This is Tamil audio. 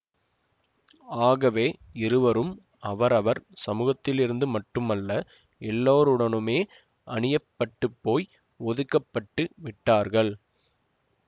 ஆகவே இருவரும் அவரவர் சமூகத்திலிருந்து மட்டுமல்ல எல்லோருடனுமே அனியப்பட்டுப்போய் ஒதுக்க பட்டு விட்டார்கள்